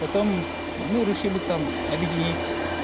потом мы решили там объединить